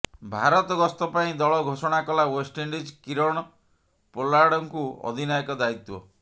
ଭାରତ ଗସ୍ତ ପାଇଁ ଦଳ ଘୋଷଣା କଲା ୱେଷ୍ଟଇଣ୍ଡିଜ୍ କିରଣ ପୋଲାର୍ଡଙ୍କୁ ଅଧିନାୟକ ଦାୟିତ୍ୱ